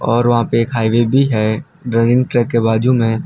और वहां पे एक हाईवे भी है रनिंग ट्रैक के बाजू में --